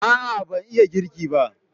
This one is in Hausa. A'a ban iya girki ba